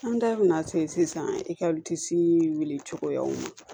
An da bɛna se sisan ekɔli wulicogoyaw ma